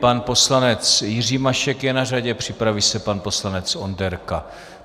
Pan poslanec Jiří Mašek je na řadě, připraví se pan poslanec Onderka.